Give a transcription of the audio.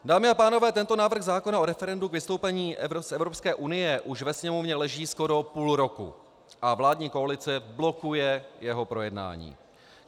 Dámy a pánové, tento návrh zákona o referendu k vystoupení z Evropské unie už ve Sněmovně leží skoro půl roku a vládní koalice blokuje jeho projednání.